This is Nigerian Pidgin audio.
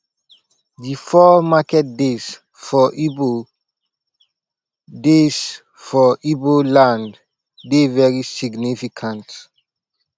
di four market days for igbo days for igbo land dey very significant